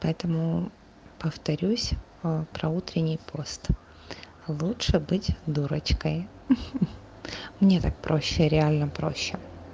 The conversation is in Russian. поэтому повторюсь а про утренний пост лучше быть дурочкой хе-хе мне так проще реально проще